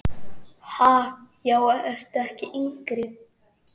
Ha, já ertu ekki yngri!